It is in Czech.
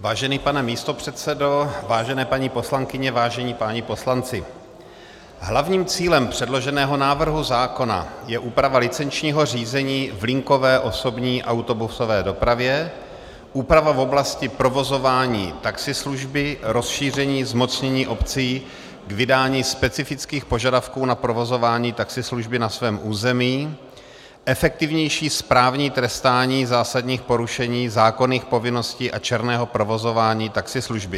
Vážený pane místopředsedo, vážené paní poslankyně, vážení páni poslanci, hlavním cílem předloženého návrhu zákona je úprava licenčního řízení v linkové osobní autobusové dopravě, úprava v oblasti provozování taxislužby, rozšíření zmocnění obcí k vydání specifických požadavků na provozování taxislužby na svém území, efektivnější správní trestání zásadních porušení zákonných povinností a černého provozování taxislužby.